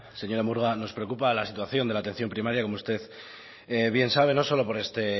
señora murga nos preocupa la situación de la atención primaria como usted bien sabe no solo por este